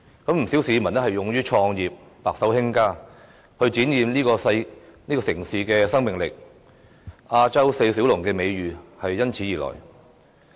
不少市民勇於創業，白手興家，展現這個城市的生命力，"亞洲四小龍"的美譽因此而來。